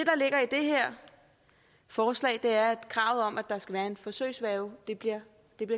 her forslag er at kravet om at der skal være en forsøgsværge bliver